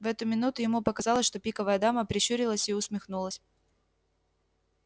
в эту минуту ему показалось что пиковая дама прищурилась и усмехнулась